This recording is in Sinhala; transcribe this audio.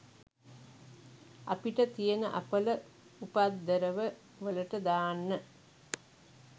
අපිට තියෙන අපල උපද්දරව වලට දාන්න